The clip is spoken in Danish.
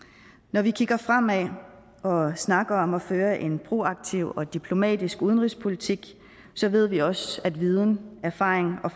når vi kigger fremad og snakker om at føre en proaktiv og diplomatisk udenrigspolitik ved vi også at viden erfaring og